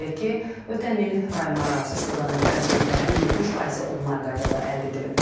Qeyd edək ki, ötən il rayonlararası istiqamətlərə biletlərin 70%-i onlayn qaydada əldə edilib.